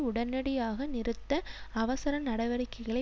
உடனடியாக நிறுத்த அவசர நடவடிக்கைகளை